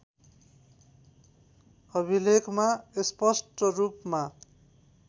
अभिलेखमा स्पष्ट रूपमा